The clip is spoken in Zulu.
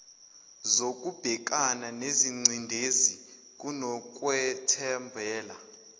zokubhekana nengcindezi kunokwethembela